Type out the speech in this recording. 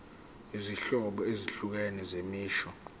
izinhlobo ezahlukene zemisho